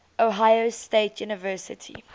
ohio state university